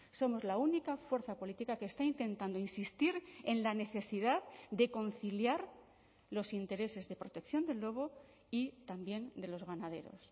somos la única fuerza política que está intentando insistir en la necesidad de conciliar los intereses de protección del lobo y también de los ganaderos